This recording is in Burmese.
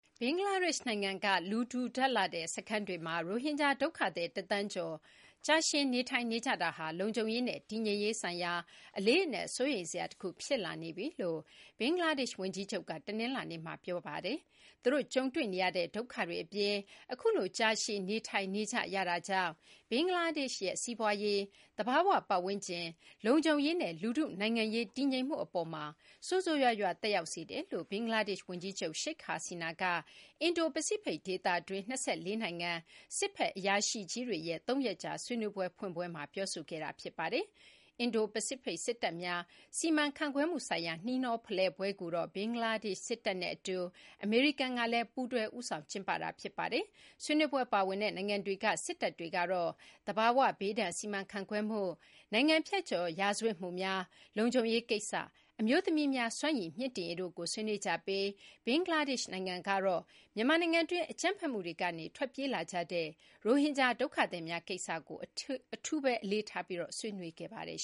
ဘင်္ဂလားဒေရှ့် နိုင်ငံက လူထူထပ်လှတဲ့ စခန်းတွေမှာရိုဟင်ဂျာ ဒုက္ခသည် ၁ သန်းကျော်ကြာရှည် နေထိုင်နေကြတာဟာ လုံခြုံရေးနဲ့ တည်ငြိမ်ရေးဆိုင်ရာ အလေးအနက် စိုးရိမ်စရာတခု ဖြစ်လာနေပြီလို့ ဘင်္ဂလားဒေရှ့် ဝန်ကြီးချုပ်က တနလာၤနေ့မှာ ပြောဆိုလိုက်ပါတယ်။ သူတို့ ကြုံတွေ့နေရတဲ့ ဒုက္ခတွေ အပြင် အခုလိုကြာရှည် နေထိုင်နေကြရတာကြောင့် ဘင်္ဂလားဒေရှ့်ရဲ့ စီးပွားရေး၊ သဘာ၀ ပတ်ဝန်းကျင်၊ လုံခြုံရေးနဲ့ လူထု နိုင်ငံရေး တည်ငြိမ်မှု အပေါ်မှာ ဆိုးဆိုးရွားရွား သက်ရောက်စေတယ်လို့ ဘင်္ဂလားဒေရှ့် ဝန်ကြီးချုပ် Sheikh Hasina က အင်ဒိုပစိဖိတ် ဒေသတွင်း ၂၄ နိုင်ငံက စစ်ဘက် အရာရှိကြီးတွေရဲ့ ၃ ရက်ကြာ ဆွေးနွေးပွဲ ဖွင့်ပွဲမှာ ပြောဆိုခဲ့တာပါ။ အင်ဒိုပစိဖိတ် စစ်တပ်များ စီမံခန့်ခွဲမှု ဆိုင်ရာ နှီးနှောဖလှယ်ပွဲကိုတော့ ဘင်္ဂလားဒေရှ့် စစ်တပ်နဲ့ အတူ အမေရိကန်ကလည်း ပူးတွဲ ဦးဆောင် ကျင်းပတာ ဖြစ်ပါတယ်။ ဆွေးနွေးပွဲ ပါဝင်တဲ့ နိုင်ငံတွေက စစ်တပ်တွေကတော့ သဘာဝဘေးဒဏ် စီမံခန့်ခွဲမှု၊ နိုင်ငံဖြတ်ကျော် ရာဇဝတ်မှုများ၊ လုံခြုံရေး ကိစ္စ၊ အမျိုးသမီးများ စွမ်းရည် မြှင့်တင်ရေးတို့ကို ဆွေးနွေးကြပြီး ဘင်္ဂလားဒေရှ့် နိုင်ငံကတော့ မြန်မာနိုင်ငံတွင်း အကြမ်းဖက်မှုတွေကနေ ထွက်ပြေးလာကြတဲ့ ရိုဟင်ဂျာ ဒုက္ခသည်မျာ ကိစ္စကို အထူး အလေးထားပြီး ဆွေးနွေးပါတယ်